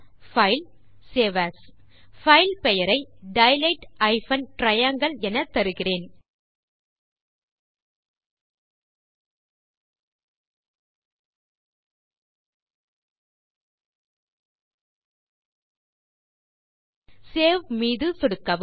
பைல்க்ட்க்ட் save as file பெயரை dilate triangle எனத்தருகிறேன் save மீது சொடுக்கவும்